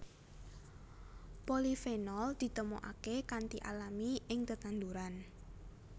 Polifenol ditemokaké kanthi alami ing tetanduran